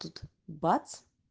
тут бац